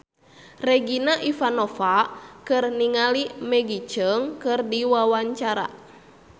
Regina Ivanova olohok ningali Maggie Cheung keur diwawancara